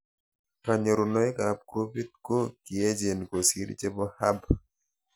Kanyorunoik ab groupit ko kiechen kosir chepo Hub